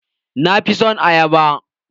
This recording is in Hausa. Na fi son ayaba.